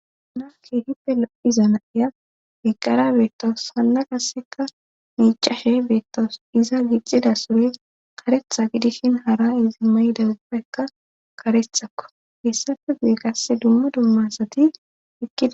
Unake hippe lo7iza nayiya heqqara beettoos hanna qasseka miicashe beettoos iza gixxida sure karetha gidishin hara izi may7idawubpeekka karethakko heessacho gu7e qasse dumma dummasati hiqkidda.